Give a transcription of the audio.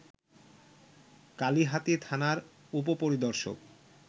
কালিহাতী থানার উপ-পরিদর্শক